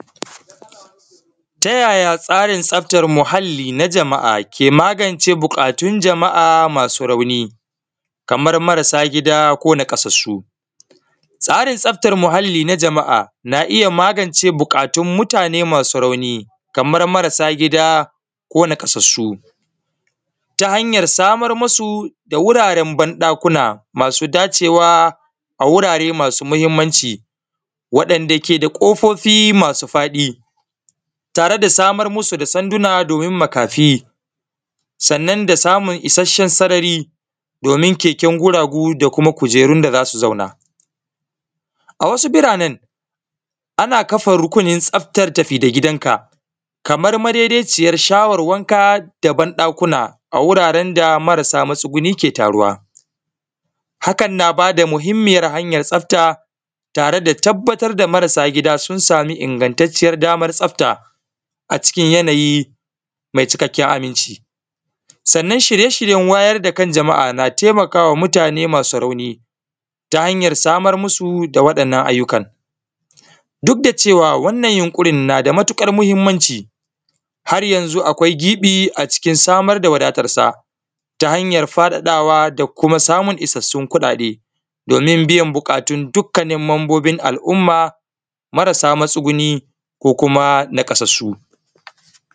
Ta yaya tsarin tsaftar muhali na jama’a ke magance bukatun jama’a masu rauni, kamar marasa gida ko naƙasasu tsarin tsaftar muhali na jama’a na iya magance bukatun mutane masu rauni kamar marasa gida ko naƙasasu ta hanyar samar musu da wuraren banɗakuna masu dacewa a wurare masu muhimmanci waɗanɗa ke da kofofi masu faɗi tare da samar musu da sanduna domin makafi, sannan da samun isashen sarari domin keken guragu da kuma kujerun da zasu zauna awasu biranan ana kafa rukunin tsaftar tafi gidanka kamar madedeciyar sharar wanka da ban ɗakuna a wureren da marasa matsuguni ke taruwa, hakan na bada muhimmiyar hanyar tsafta tare da tabbatar da marasa gida sun sami ingantanciyar damar tsafta a cikin yanayi mai cikaken aminci, sannan shirye shiryen wayar dakan jama’a na taimaka wa mutane masu rauni ta hanyar samar musu da waɗannan ayyukan duk da cewa wannan yunkurin nada mutukar muhummanci har yanzu akwai gibi a cikin samar da wadatarsa ta hanya faɗaɗawa da kuma samun isassun kuɗaɗen domin biyan bukatun dukanin mambobin al’umma marasa matsuguni ko kuma naƙasasu.